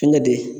Fɛnkɛ de